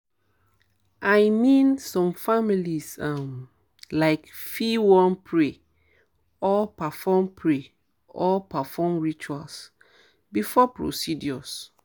i mean some families um laik fit wan pray or perform pray or perform rituals before procedures.